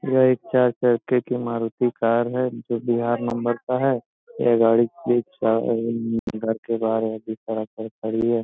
यह एक चार चक्के की मारूति कार है जो बिहार नंबर का है ये गाड़ी प्लेट चार घर के बाहर है बीच सड़क पर खड़ी है।